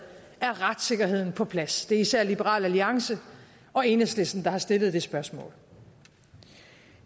og om retssikkerheden er på plads det er især liberal alliance og enhedslisten der har stillet det spørgsmål